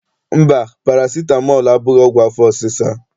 Mba, parasitamọl abụghị ọgwụ afọ ọsịsa.